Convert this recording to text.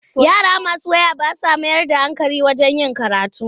Yara masu waya ba sa mayar da hankali wajen karatu.